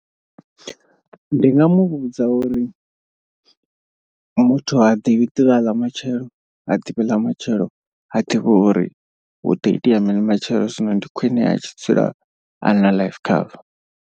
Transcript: Ndi nga muvhudza uri, muthu ha ḓivhi ḓuvha ḽa matshelo ha ḓivhi ḽa matshelo ha ḓivhi uri huḓo itea mini matshelo zwino ndi khwine a tshi dzula a na life cover.